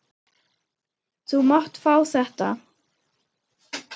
Þú mátt fá þetta.